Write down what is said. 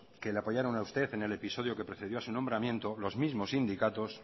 que le apoyaron a usted en el episodio que precedió a su nombramiento los mismos sindicatos